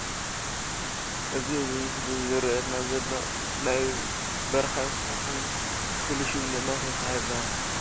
እዚ ኣብዚ ምስሊ ዝረኣየና ዘሎ ናይ በረካ እንስሳ ኮይኑ ፍሉይ ሽሙ ድማ ሰስሓ ይበሃል ።